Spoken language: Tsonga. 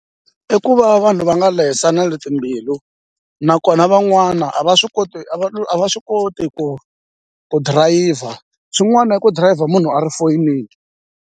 I ku va vanhu va nga lehiselani timbilu nakona van'wana a va swi koti a va swi koti ku ku dirayivha swin'wana i ku dirayivha munhu a ri foyinini.